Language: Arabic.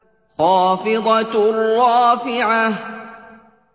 خَافِضَةٌ رَّافِعَةٌ